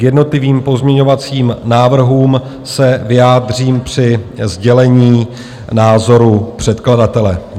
K jednotlivým pozměňovacím návrhům se vyjádřím při sdělení názoru předkladatele.